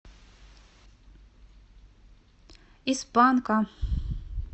из панка